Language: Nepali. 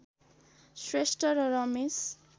श्रेष्ठ र रमेश